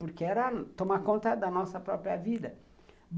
Porque era tomar conta da nossa própria vida.